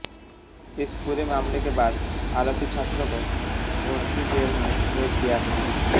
इस पूरे मामले के बाद आरोपी छात्र को भौंडसी जेल में भेज दिया है